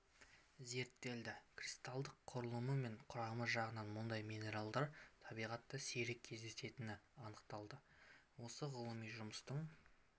зерттелді кристалдық құрылымы мен құрамы жағынан мұндай минералдар табиғатта сирек кездесетіні анықталды осы ғылыми жұмыстың